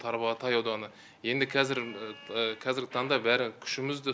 тарбағатай ауданы енді қазір қазіргі таңда бәрі күшімізді